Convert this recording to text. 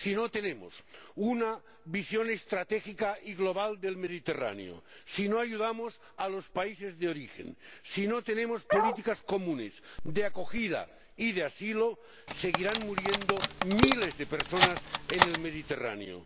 Si no tenemos una visión estratégica y global del Mediterráneo, si no ayudamos a los países de origen, si no tenemos políticas comunes de acogida y de asilo, seguirán muriendo miles de personas en el Mediterráneo.